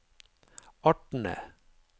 artene